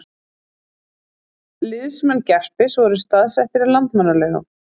Liðsmenn Gerpis voru staðsettir í Landmannalaugum